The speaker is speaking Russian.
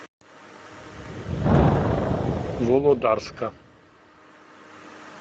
володарска